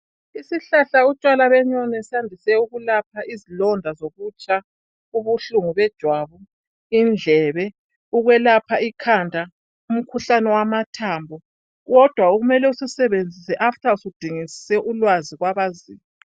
Isihlahla utshwala benyoni sandise ukulapha izilonda zokutsha, ubuhlungu bejwabu, indlebe, ukwelapha ikhanda, umkhuhlane wamathambo, kodwa kumele usisebenzise after usudingisise ulwazi kwabaziyo.